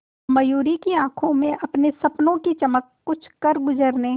मयूरी की आंखों में अपने सपनों की चमक कुछ करगुजरने